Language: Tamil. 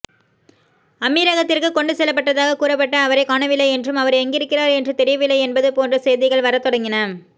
அமீரகத்திற்கு கொண்டு செல்லப்பட்டதாகக் கூறப்பட்ட அவரைக் காணவில்லை என்றும் அவர் எங்கிருக்கிறார் என்று தெரியவில்லை என்பது போன்ற செய்திகள் வரத்தொடங்கின